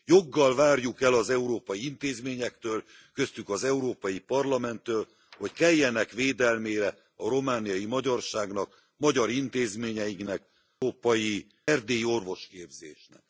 Joggal várjuk el az európai intézményektől köztük az Európai Parlamenttől hogy keljenek védelmére a romániai magyarságnak, magyar intézményeinknek, az erdélyi orvosképzésnek.